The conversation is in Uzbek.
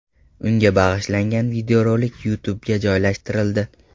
Unga bag‘ishlangan videorolik YouTube’ga joylashtirildi .